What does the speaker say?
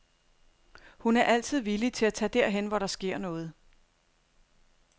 Hun er altid villig til at tage derhen, hvor der sker noget.